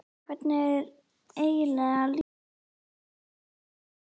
En hvernig er eiginlega að leikstýra hesti?